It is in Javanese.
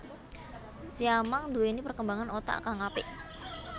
Siamang nduwéni perkembangan otak kang apik